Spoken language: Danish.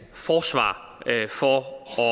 forsvar for